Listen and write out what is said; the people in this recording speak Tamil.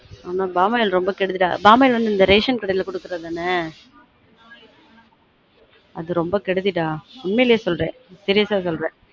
நீ பாமாயில் ரொம்ப கெடுதிடா பாமாயில் வந்து இந்த ration கடையில குடுக்குறது தானே அது ரொம்ப கெடுதிடா உண்மையிலே சொல்றன் serious ஆ சொல்றன்